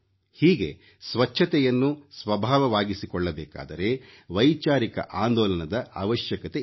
ಹೀಗೆ ಸ್ವಚ್ಛತೆಯನ್ನು ಸ್ವಭಾವವಾಗಿಸಿಕೊಳ್ಳಬೇಕಾದರೆ ವೈಚಾರಿಕ ಆಂದೋಲನದ ಅವಶ್ಯಕತೆಯಿದೆ